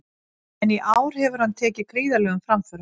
En í ár hefur hann tekið gríðarlegum framförum.